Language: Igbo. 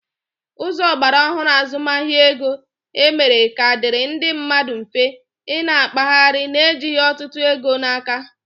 Ụzọ ogbaraohuru azụmahịa ego, e mera ka ọ dịrị ndị mmadụ mfe, ị na-akpaghari na ejighi ọtụtụ ego n'aka